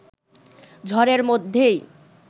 ঝড়ের মধ্যেই